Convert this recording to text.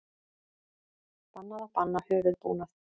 Bannað að banna höfuðbúnað